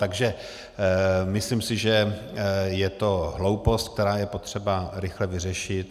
Takže myslím si, že je to hloupost, kterou je potřeba rychle vyřešit.